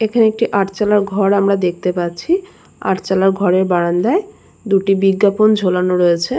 এখানে একটি আটচালা ঘর আমরা দেখতে পাচ্ছি আটচালা ঘরের বারান্দায় দুটি বিজ্ঞাপন ঝোলানো রয়েছে।